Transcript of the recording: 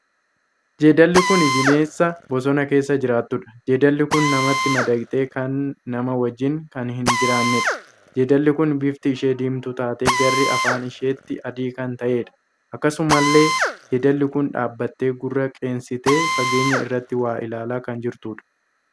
Jeedalli kun bineensa boosana keessa jiraattuudha. Jeedalli kun namatti madaqtee kan namaa wajjin kan hin jiraanneedha. Jeedalli kun bifti ishee diimtuu taatee garri afaan isheetii adii kan taheedha. Akkasumallee jeedalli kun dhaabbattee gurra qeensitee fageenya irratti waa ilaalaa kan jirtuudha.